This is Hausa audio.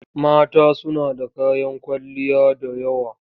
Mata suna da kayan kwalliya da yawa.